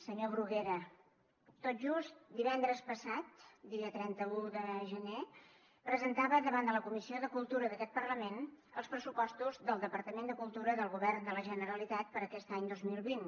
senyor bruguera tot just divendres passat dia trenta un de gener presentava davant de la comissió de cultura d’aquest parlament els pressupostos del departament de cultura del govern de la generalitat per a aquest any dos mil vint